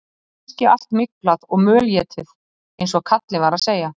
Kannski allt myglað og mölétið eins og kallinn var að segja.